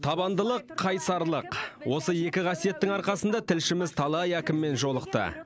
табандылық қайсарлық осы екі қасиеттің арқасында тілшіміз талай әкіммен жолықты